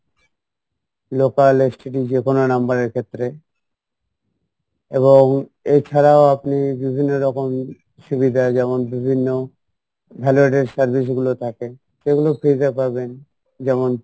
local STD যেকোনো number এর ক্ষেত্রে এবং এছাড়াও আপনি বিভিন্ন রকম সুবিধা যেমন বিভিন্ন service গুলো থাকে সেইগুলো free তে পাবেন যেমন